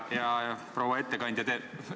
Hea proua ettekandja!